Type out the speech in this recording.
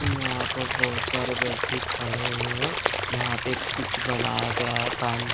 यहां पर बहोत सारे व्यक्ति खड़े हुए हैं यहां पे कुछ बनाया गया है पान--